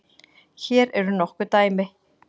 Hér eru nokkur dæmi